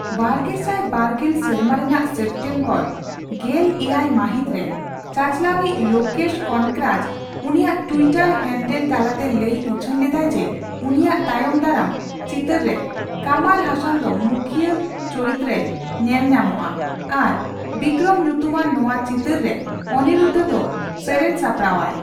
ᱵᱟᱨᱜᱮᱥᱟᱭ ᱵᱟᱨ ᱜᱮᱞ ᱥᱮᱨᱢᱟ ᱨᱮᱱᱟᱜ ᱥᱮᱯᱴᱮᱢᱵᱚᱨ ᱜᱮᱞ ᱮᱭᱟᱭ ᱢᱟᱹᱦᱤᱛᱨᱮ ᱪᱟᱪᱟᱞᱟᱣᱤᱪ ᱞᱳᱠᱮᱥ ᱠᱚᱱᱚᱠᱨᱟᱡ ᱩᱱᱤᱭᱟᱜ ᱴᱩᱭᱴᱟᱨ ᱦᱮᱱᱰᱮᱞ ᱛᱟᱞᱟᱛᱮ ᱞᱟᱹᱭ ᱩᱪᱷᱟᱹᱱ ᱞᱮᱫᱟᱭ ᱡᱮ ᱩᱱᱤᱭᱟᱜ ᱛᱟᱭᱚᱢ ᱫᱟᱨᱟᱢ ᱪᱤᱛᱟᱹᱨ ᱨᱮ ᱠᱟᱢᱟᱞ ᱦᱟᱥᱟᱱ ᱫᱚ ᱢᱩᱠᱷᱤᱭᱟᱹ ᱪᱚᱨᱤᱛᱨᱮᱭ ᱧᱮᱞ ᱧᱟᱢ ᱟ ᱟᱨ 'ᱵᱤᱠᱨᱚᱢ' ᱧᱩᱛᱩᱢᱟᱱ ᱱᱚᱣᱟ ᱪᱤᱛᱟᱹᱨ ᱨᱮ ᱚᱱᱤᱨᱩᱫᱫᱷᱚ ᱫᱚ ᱥᱮᱨᱮᱧᱮ ᱥᱟᱯᱲᱟᱣᱟᱭ᱾